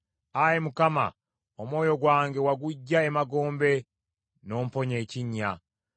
Ayi Mukama , omwoyo gwange waguggya emagombe, n’omponya ekinnya.